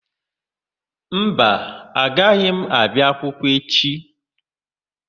Mba, agaghị m abịa akwụkwọ echi.